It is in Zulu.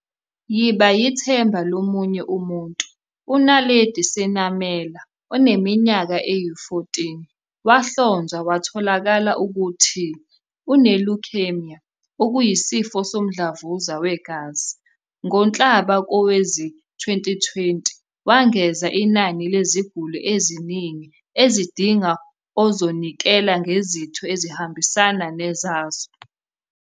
Yiba yithemba lo munye umuntu. U-Naledi Senamela, oneminyaka eyi-14, wahlonzwa kwatholakala ukuthi une-leukaemia, okuyisifo somdlavuza wegazi, ngoNhlaba kowezi-2020. Wengeza inani leziguli eziningi ezidinga ozonikela ngezitho ezihambisana nezazo.